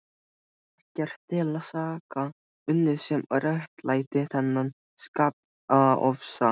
Hafði ekkert til saka unnið sem réttlætti þennan skapofsa.